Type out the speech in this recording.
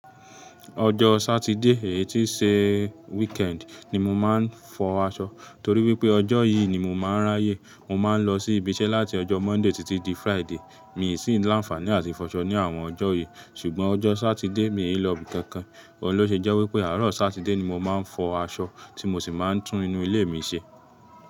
Ọjọ́ Sátidé, èyí tí n ṣe weekend ni mo máa ń fọ aṣọ, torí pé ọjọ́ yìí ni mo máa ń ráyé. Mo máa ń lọ sí ibi iṣẹ́ láti ọjọ́ Mọ́ndèé títí dí Fraídèé, mi ì sí ń lánàáfàní àti fọṣọ ní àwọn ọjọ́ yìí ṣùgbọ́n ọjọ́ Sátidé, mi ò hí lọ bí i kankan. Ọun lọ́ ṣẹ́ je wipé, àárọ̀ Sátidé ni mo máa ń fọ aṣọ, tí mo sì máa ń tún inú ilé mi ṣe.